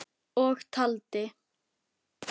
Og taldi